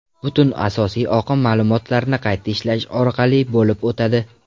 Butun asosiy oqim ma’lumotlarni qayta ishlash orqali bo‘lib o‘tadi.